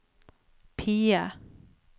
PIE